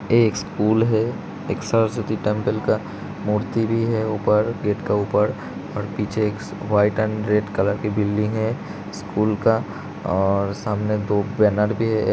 यह एक स्कूल हैएक सरस्वती टेम्पल का मूर्ति भी है ऊपर गेट के ऊपर और पीछे एक वाइट एंड रेड कलर कि बिल्डिंग है स्कूल का और सामने दो बैनर भी हैं|